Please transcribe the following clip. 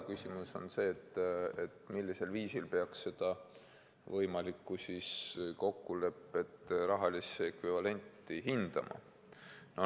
Küsimus on ka see, millisel viisil peaks seda võimalikku kokkulepet rahalise ekvivalendiga hindama.